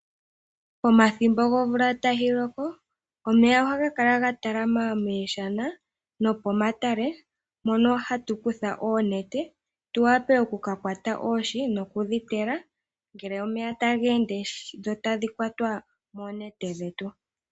Pomathimbo gomvula tayi loko, omeya ohaga kala ga talama mooshana, nomomatale mono hatu kutha oonete tu wape oku ka kwata oohi nokudhi tela ngele omeya taga ende, dho tadhi kwatwa koonete dhetu.